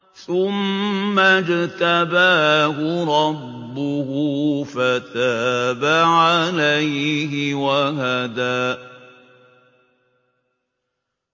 ثُمَّ اجْتَبَاهُ رَبُّهُ فَتَابَ عَلَيْهِ وَهَدَىٰ